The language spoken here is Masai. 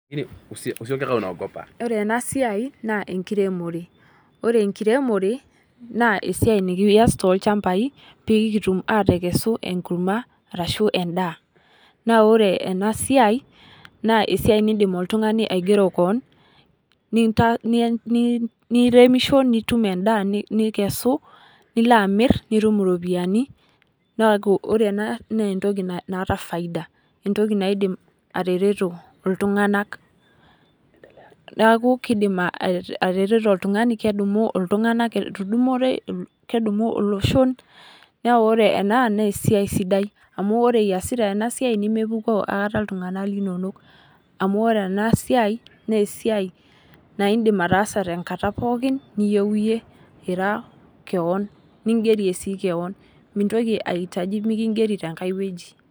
Ore ena siai naa enkiremore ore enkiremore naa esiai nikiass toolchambai pee kitum aatekesu enkurma arashu endaa. Naa ore ena siai naa esiai naidim oltungani aigero kewon nieremisho nitum endaa nikesu nilo amir nitum iropiani naa ore ena naa entoki naata Faisda entoki naidim atareto iltunganak neeku kaidim atareto iltunganak kedumu olosho naa ore ena naa esiai sidai amu ore iasita ena siai naa mepukoo akata iltunganak linonoamu ore ena siai naa esiai naidim ataasa tenkataa pooki niyieu iyie iraa kewon nigerie sii kewon mintoki ai hitaji mikingeri tiae wueji .